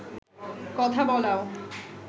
কথা বলাও